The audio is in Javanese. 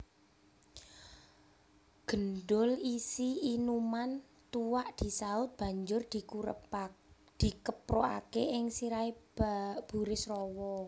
Gendul isi inuman tuak disaut banjur dikeprukaké ing sirahé Burisrawa